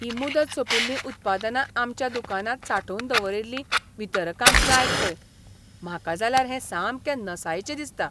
हीं मुदत सोंपिल्लीं उत्पादनां आमच्या दुकानांत सांठोवन दवरिल्लीं वितरकांक जाय खंय. म्हाका जाल्यार हें सामकें नसायेचें दिसता.